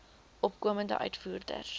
opkomende uitvoerders